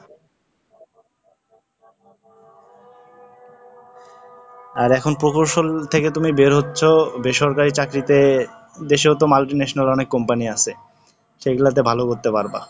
আর এখন প্রকৌশল থেকে তুমি বের হচ্ছ, বেসরকারি চাকরিতে দেশেও তো multinational অনেক Company আছে, সেগুলাতে ভালো করতে পারবা।